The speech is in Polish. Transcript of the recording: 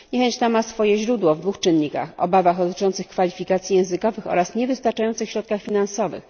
Niechęć ta ma swoje źródło w dwóch czynnikach obawach dotyczących kwalifikacji językowych oraz niewystarczających środkach finansowych.